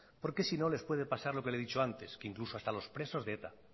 porque si no les puede pasar lo que le he dicho antes que incluso hasta los presos de eta